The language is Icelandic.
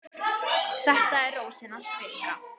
Þetta er Rósin hans Fikka.